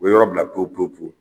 U bɛ yɔrɔ bila ko ko